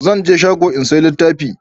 zan je shago in saya littafi